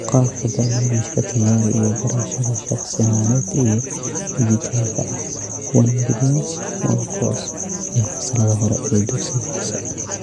Qaabka barnaamijka Tayari iyo barashada shakhsi ahaaneed ee dhijitaalka ah (onebillion's onecourse) ee fasalada hore ee dugsiga hoose.